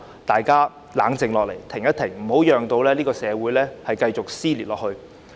大家應冷靜下來，停一停，別讓社會繼續撕裂。